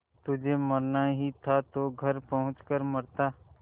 तुझे मरना ही था तो घर पहुँच कर मरता